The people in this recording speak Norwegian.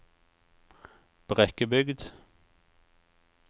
Brekkebygd